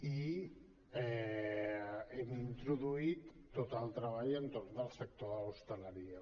i hem introduït tot el treball entorn del sector de l’hostaleria